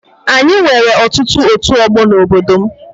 Anyị nwere ọtụtụ ọtu ọgbọ n'obodo m